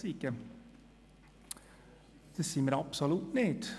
Das sind wir absolut nicht!